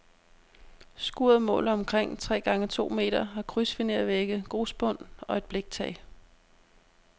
Skuret måler omkring tre gange to meter, har krydsfinervægge, grusbund og et bliktag.